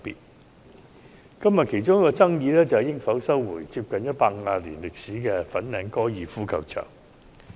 今天辯論的其中一個焦點，是應否收回有近150年歷史的粉嶺高爾夫球場用地。